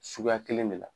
Suguya kelen de la